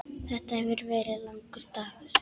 Þetta hefur verið langur dagur.